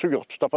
Su yoxdur.